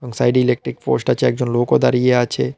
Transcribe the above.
সাইডে -এ electric post আছে একজন লোকও দাঁড়িয়ে আছে।